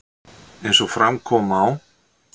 Eins og fram kom á